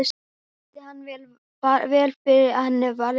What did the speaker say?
Hún skildi hann vel því henni var eins farið.